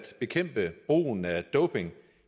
bekæmpe brugen af doping